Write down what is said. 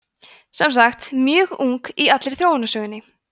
sem sagt mjög ung í allri þróunarsögunni